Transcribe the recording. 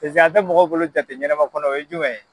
Peseke a tɛ mɔgɔw bolo jate ɲɛnama kɔnɔ o ye jumɛn ye.